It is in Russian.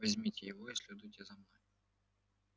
возьмите его и следуйте за мной